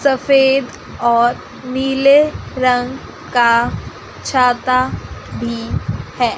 सफेद और नीले रंग का छाता भी है।